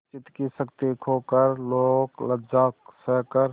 चित्त की शक्ति खोकर लोकलज्जा सहकर